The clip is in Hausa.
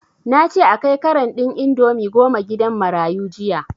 Nace a kai karan ɗin indomie goma gidan marayu jiya